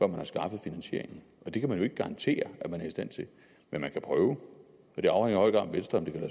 man har skaffet finansieringen det kan man jo ikke garantere at man er i stand til men man kan prøve og det afhænger